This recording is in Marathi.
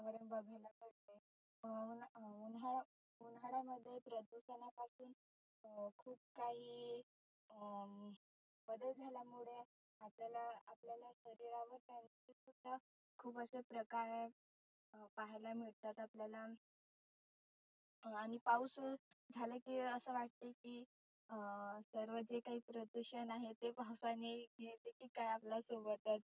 खुप असं प्रकार पहायला मिळतात आपल्याला. आणि पाऊस झाला की असं वाटतं की अं सर्व जे जे काही प्रदुषन आहे ते पावसाने नेते की काय आपल्या सोबतच.